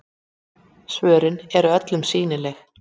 Svörin eru öllum sýnileg